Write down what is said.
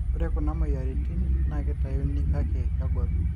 ore kuna moyiariin naa keitauni kake kegol